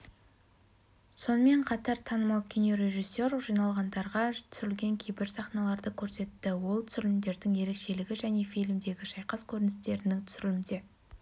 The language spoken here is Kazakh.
сонымен қатар танымал кинорежиссер жиналғандарға түсірілген кейбір сахналарды көрсетті ол түсірілімдердің ерекшелігі және фильмдегі шайқас көріністерінің түсірілімдері қиын болатынын айтты